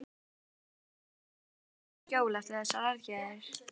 Er Ísland núna komið í skjól eftir þessar aðgerðir?